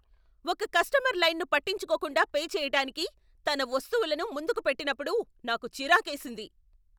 ఒక కస్టమర్ లైన్ను పట్టించుకోకుండా పే చేయటానికి తన వస్తువులను ముందుకు పెట్టినప్పుడు నాకు చిరాకేసింది.